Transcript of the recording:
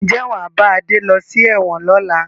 Ǹjẹ́ wàá bá Adé lọ sí ẹ̀wọ̀n lọ́la?